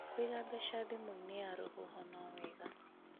kũiga mbeca thimũ-inĩ ya rũhuho no wega